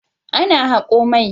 Ana hako mai.